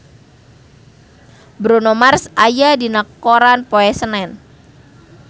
Bruno Mars aya dina koran poe Senen